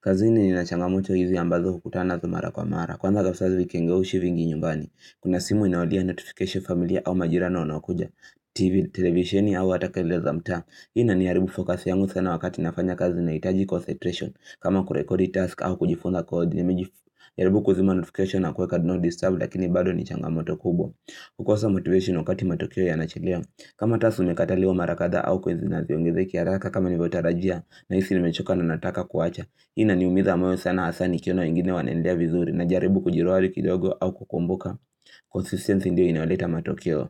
kazini ni na changamoto hizi ambazo hukutana nazo mara kwa mara. Kwanza kafisazi wikenge ushi vingi nyumbani. Kuna simu inaolia notification familia au majirani wanaokuja. TV, televisheni au hataka keleleza mtaa. Hii ina ni haribu fokasi yangu sana wakati nafanya kazi na hitaji kosetration. Kama kurekodi task au kujifunga kwa kodi nimijifu. Nimejaribu kuzima notification na kuweka no disturb lakini bado ni changamoto kubwa. Kukosa motivation wakati matokeo ya nachelewa. Kama task zimekataliwa marakatha au coins haziongezeki haraka kama nilivyotarajia. Na hisi nimechoka na nataka kuwacha hii ini umiza moyo sana hasa ni kiona wengine wanaendea vizuri na jaribu kujiruali kidogo au kukumbuka Consistence ndio inaoleta matokeo.